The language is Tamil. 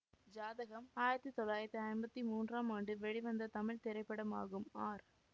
ஜாதகம் ஆயிரத்தி தொள்ளாயிரத்தி ஐம்பத்தி மூன்றாம் ஆண்டு வெளிவந்த தமிழ் திரைப்படமாகும் ஆர்